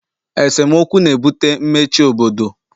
esemokwu na-ebute mmechi obodo